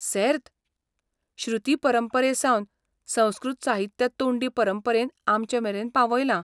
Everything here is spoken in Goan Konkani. सेर्त! श्रुती परंपरेसावन संस्कृत साहित्य तोंडी परंपरेन आमचेमेरेन पावयलां.